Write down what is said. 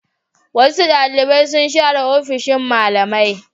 Wasu ɗalibai sun share ofishin malamai.